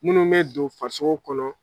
Munnu mɛ don farisogo kɔnɔ